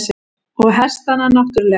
Og hestana náttúrlega.